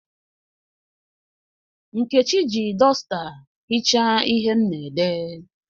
Nkechi ji dọsta hichaa ihe m na-ede.